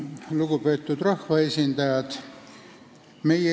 Lugupeetud rahvaesindajad!